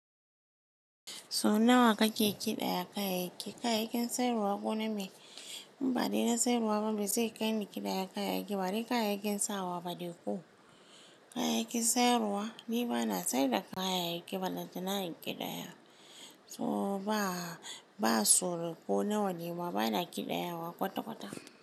So nawa kake ƙiɗaya kayayyaki? Kayayyakin sayarwa ko name? In ba dai na sayarwa ba, mai zai kai ni ƙidaya kayayyaki ba. Badai kayayyakin sawa ba dai ko kayayyakin sayarwa. Ni ba na sayar da kayayyaki ballantana in ƙidaya. So ba, ba tsoro ko nawa ne ma, ba na ƙidaya wa kwata-kwata.